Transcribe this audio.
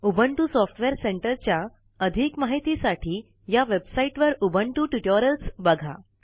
Ubuntu software सेंटरच्या अधिक महितीसाठी या वेबसाईटवर उबुंटू टूटोरियल्स बघा